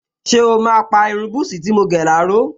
Ṣé o máa pa irun búsí tí mo gẹ̀ láró?